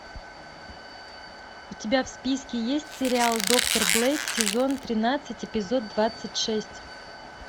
у тебя в списке есть сериал доктор блейк сезон тринадцать эпизод двадцать шесть